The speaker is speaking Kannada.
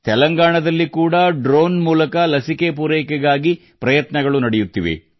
ತೆಲಂಗಾಣದಲ್ಲಿ ಕೂಡಾ ಡ್ರೋನ್ ಮೂಲಕ ಲಸಿಕೆ ಪೂರೈಕೆಗಾಗಿ ಪ್ರಯತ್ನಗಳು ನಡೆಯುತ್ತಿವೆ